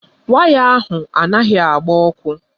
Waya ahụ anaghị agba ọkụ.